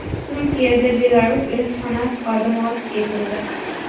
Turkiyada Belarus elchixonasi xodimi otib ketildi.